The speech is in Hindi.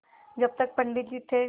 जब तक पंडित जी थे